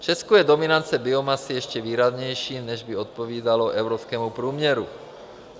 V Česku je dominance biomasy ještě výraznější, než by odpovídalo evropskému průměru.